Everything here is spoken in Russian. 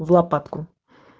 в лопатку